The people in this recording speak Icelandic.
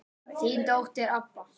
Þín dóttir, Adda.